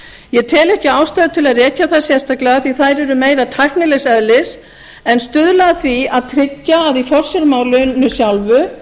ég tel ekki ástæðu til að rekja þær sérstaklega því að þær eru meira tæknilegs eðlis en stuðla að því að tryggja að í forsjármálinu sjálfu